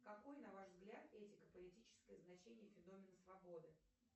какой на ваш взгляд этико политическое значение феномена свободы